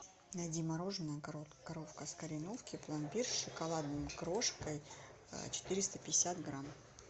найди мороженое коровка с кореновки пломбир с шоколадной крошкой четыреста пятьдесят грамм